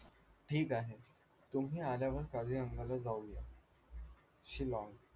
ठीक आहे तुम्ही आल्यावर काझीरंगाला जाऊया शिलाँग